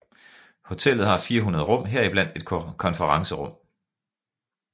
Hotellet har 400 rum heriblandt et konferencerum